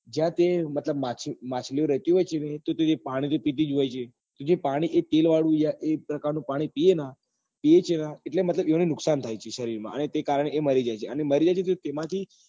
ત્યાં તે મતલબ ત્યાં માછલીઓ રહેતી હોય છે ને તો તે પાણી તો પીતી જ હોય જે પાણી એ તેલ વાળું યાર એ જ પ્રકાર નું પાણી એ પીવે ને એટલે મતલબ એમને નુકસાન થાય છે સરીર માં અને તે કારણે એ મરી જાય છે અને મરી જાય છે તેમાંથી